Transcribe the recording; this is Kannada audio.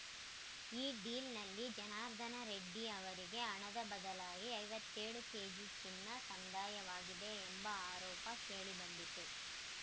ಈ ಡೀಲ್‌ನಲ್ಲಿ ಜನಾರ್ದನ ರೆಡ್ಡಿ ಅವರಿಗೆ ಹಣದ ಬದಲಾಗಿ ಐವತ್ತೆಳು ಕೇಜಿ ಚಿನ್ನ ಸಂದಾಯವಾಗಿದೆ ಎಂಬ ಆರೋಪ ಕೇಳಿಬಂದಿತ್ತು